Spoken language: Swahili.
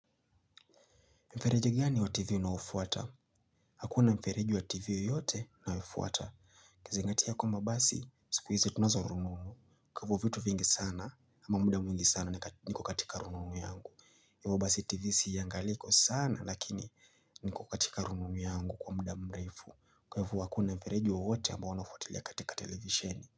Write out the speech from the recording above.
Mfereji gani wa tv unaofuata. Hakuna mfereji wa tv yote na ufuata. Kuzingatia kwamba basi siku hizi tunazo rununu. Kwa vitu vingi sana ama muda mwingi sana niko katika rununu yangu. Yababasi tv siiangaliko sana lakini niko katika rununu yangu kwa muda mrefu. Kwa hivyo hakuna mfereji wawote ambao wanafotilia katika televisheni.